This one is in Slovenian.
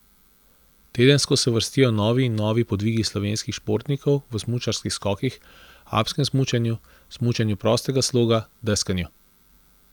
Tedensko se vrstijo novi in novi podvigi slovenskih športnikov v smučarskih skokih, alpskem smučanju, smučanju prostega sloga, deskanju.